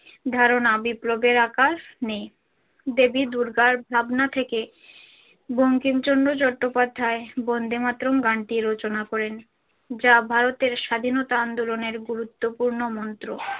ধারনা বিপ্লবের আকার নেই দেবী দূর্গার ভাবনা থেকেই বঙ্কিমচন্দ্র চট্টোপাধ্যায় বন্দে মাতরম গানটি রচনা করেছিলেন যা ভারতের স্বাধীনতা আন্দোলনের গুরুত্বপূর্ণ মন্ত্র।